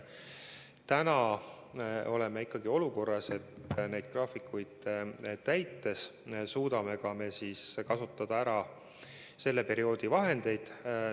Täna oleme siiski olukorras, et neid graafikuid täites suudame ära kasutada selle perioodi vahendid.